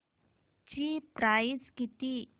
ची प्राइस किती